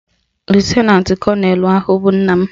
Lutenantị kọnelụ ahụ bụ nna m